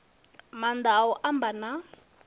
maanḓa a u amba na